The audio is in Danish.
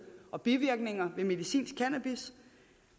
og bivirkninger ved medicinsk cannabis